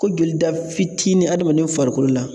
Ko jolida fitini adamaden farikolo la.